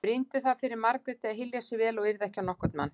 Brýndu það fyrir Margréti að hylja sig vel og yrða ekki á nokkurn mann.